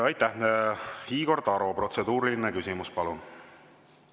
Igor Taro, protseduuriline küsimus, palun!